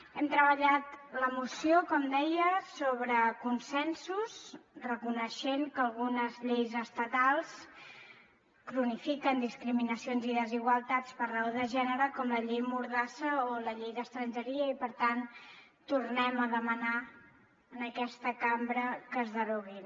hem treballat la moció com deia sobre consensos reconeixent que algunes lleis estatals cronifiquen discriminacions i desigualtats per raó de gènere com la llei mordassa o la llei d’estrangeria i per tant tornem a demanar en aquesta cambra que es deroguin